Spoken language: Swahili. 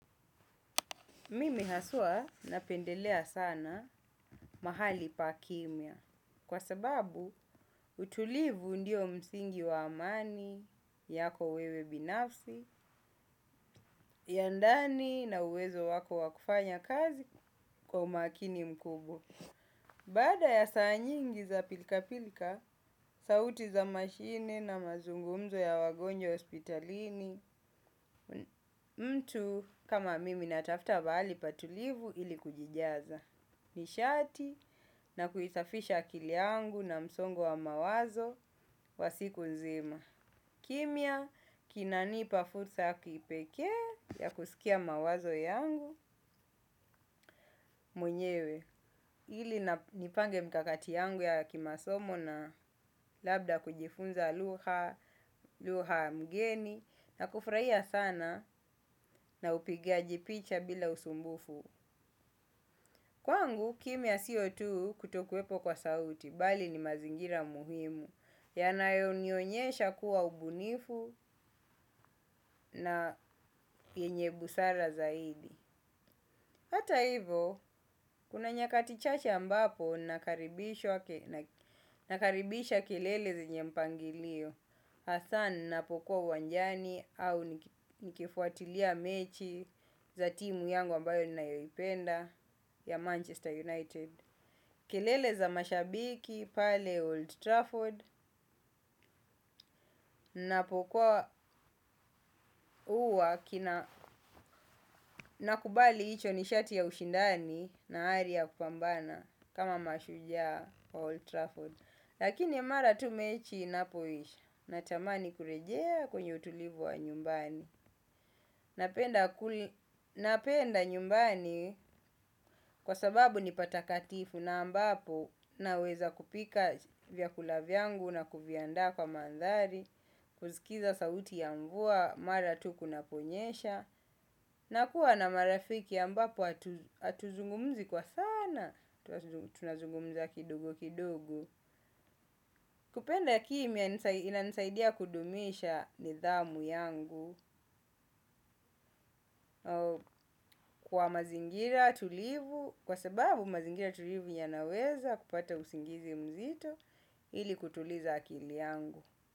Mimi haswaa napendelea sana mahali pa kimya kwa sababu utulivu ndio msingi wa amani yako wewe binafsi ya ndani na uwezo wako wakufanya kazi kwa umakini mkubwa. Baada ya saa nyingi za pilika pilka, sauti za mashine na mazungumzo ya wagonjo hospitalini, mtu kama mimi natafta paali patulivu ili kujijaza. Nishati na kuisafisha akili yangu na msongo wa mawazo wa siku nzima. Kimya kinanipa fursa ya kipekee ya kusikia mawazo yangu mwenyewe. Ili na nipange mkakati yangu ya kimasomo na labda kujifunza lugha mgeni na kufurahia sana na upigaji picha bila usumbufu. Kwangu, kimya sio tu kutokuwepo kwa sauti, bali ni mazingira muhimu, yanayo nionyesha kuwa ubunifu na yenye busara zaidi. Hata hivo, kuna nyakati chache ambapo nakaribisha kilele zenye mpangilio. Athaa ninapokuwa uwanjani au nikifuatilia mechi za timu yangu ambayo ni nayoipenda ya Manchester United. Kilele za mashabiki pale Old Trafford. Napokua uwa nakubali icho nishati ya ushindani na ari ya kupambana kama mashujaa wa Old Trafford. Lakini mara tu mechi inapoisha natamani kurejea kwenye utulivu wa nyumbani, napenda. Napenda nyumbani kwa sababu nipa takatifu na ambapo naweza kupika vyakula vyangu na kuviandaa kwa mandhari, kusikiza sauti ya mvua mara tu kunaponyesha. Na kuwa na marafiki ambapo atuzungumzi kwa sana, tunazungumza kidogo kidogo. Kupenda kimya inanisaidia kudumisha nidhamu yangu kwa mazingira tulivu kwa sababu mazingira tulivu yanaweza kupata usingizi mzito ili kutuliza akili yangu.